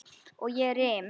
Og ég rym.